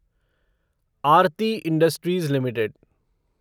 Aarti industries limited